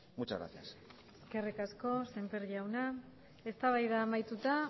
muchas gracias eskerrik asko semper jauna eztabaida amaituta